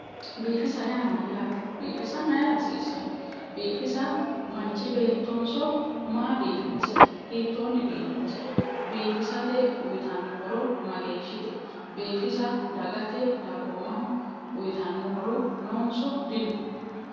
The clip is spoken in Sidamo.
Biifisa yaa mayyaate? biifisa maayiira hasiissanno? biifisa manchi beettonso maa biifinsayi hiittoonni biifinsayi? biifisate uuyiitanno horo mageeshshite? biifisa dagate dagoomaho uuyitanno horo noonso dino?